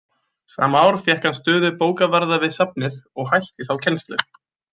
Sama ár fékk hann stöðu bókavarðar við safnið og hætti þá kennslu.